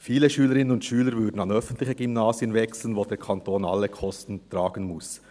Viele Schülerinnen und Schüler würden an öffentliche Gymnasien wechseln, bei denen der Kanton alle Kosten tragen muss.